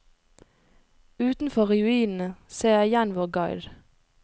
Utenfor ruinene ser jeg igjen vår guide.